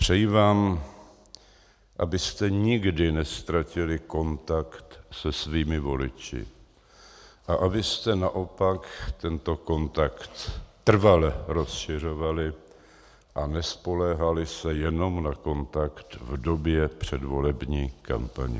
Přeji vám, abyste nikdy neztratili kontakt se svými voliči a abyste naopak tento kontakt trvale rozšiřovali a nespoléhali se jenom na kontakt v době předvolební kampaně.